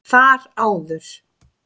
Þar áður